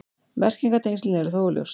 Merkingartengslin eru þó óljós.